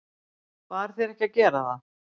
Bar þér ekki að gera það?